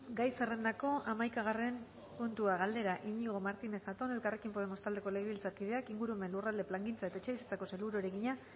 gai zerrendako hamaikagarren puntua galdera iñigo martínez zatón elkarrekin podemos taldeko legebiltzarkideak ingurumen lurralde plangintza eta etxebizitzako sailburuari egina